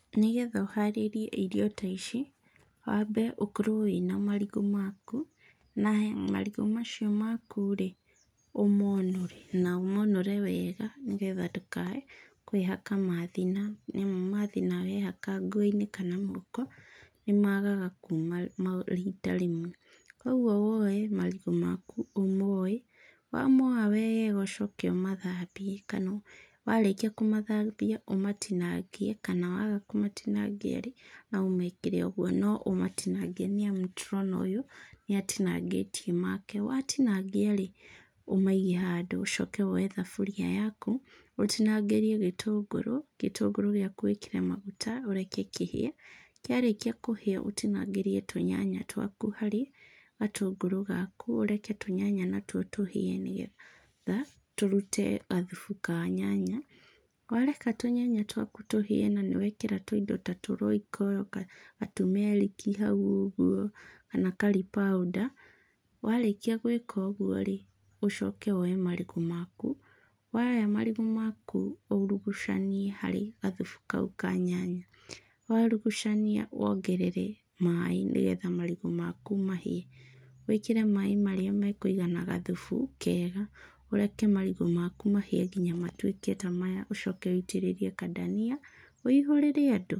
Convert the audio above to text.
Nĩ getha ũharĩrie irio ta ici, wambe ũkorwo wĩna marigũ maku, na marigũ macio maku-rĩ, ũmonũre na ũmonũre wega nĩ getha ndũkae kwĩhaka methina nĩamu methina wehaka ngo-inĩ kaa gũoko, nĩmagaga kuma rita rĩmwe. Kuoguo woe marigũ maku ũmoe, wamoa wega ũcoke ũmathambie kana warĩkia kũmathambia ũmatinangie kana waga kũmatinangia-rĩ, no ũmekĩre ũguo. No ũmatinangie nĩamu nĩ tũrona ũyũ nĩatinangĩtie make. Watinangia-rĩ, ũmaige handũ. Ũcoke woe thaburia yaku, ũtinangĩrie gĩtũngũrũ, gĩtũngũrũ gĩaku wĩkĩre maguta ũreke kĩhĩe. Kĩarĩkia kũhĩa, ũtinangĩrie tũnyanya twaku harĩ gatũngũrũ gaku. Ũreke tũnyanya twaku natuo tũhĩe nĩgetha tũrute gathubu ka nyanya. Wareka tũnyanya twaku tũhĩe na nĩwekĩra tũindo ta tũ Royco, ga tumeric i hau ũguo, kana curry powder, warĩkia gwĩka ũguo-rĩ, ũcoke woe marigũ maku, woya mairgũ maku urugucanie harĩ gathubu kau ka nyanya, wourugucania wongerere maĩ nĩgetha marigũ maku mahĩe. Wĩkĩre maĩ marĩa mekũigana gathubu kega, ũreke marigũ maku mahĩe kinya matuĩke ta maya ũcoke wĩitĩrĩrie kadania, wĩihũrĩre andũ.